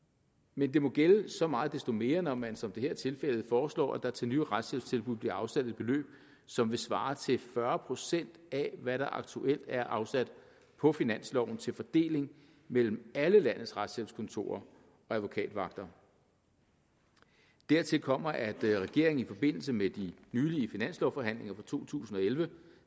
men det må gælde så meget desto mere når man som det her er tilfældet foreslår at der til nye retshjælpstilbud bliver afsat et beløb som vil svare til fyrre procent af hvad der aktuelt er afsat på finansloven til fordeling mellem alle landets retshjælpskontorer og advokatvagter dertil kommer at regeringen i forbindelse med de nylige finanslovforhandlinger for to tusind og elleve